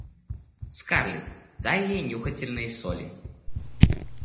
скарлетт дай ей нюхательные соли